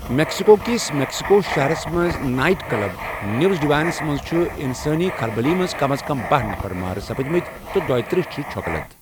میكسِكو كِس میٚکسِکو شہرس منٛز، نایِٹ کٕلب نیٛوٗز ڈِواینس منٛز چھِ اِنسٲنی كھلبلی منٛز کم از کم باہہ نَفر مارٕ سپٕدمٕتہِ تہٕ دۄیہ ترٕٛہ چھِ چھۄکہٕ لد۔